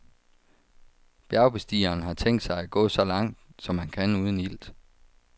Bjergbestigeren har tænkt sig at gå så langt, som han kan uden ilt.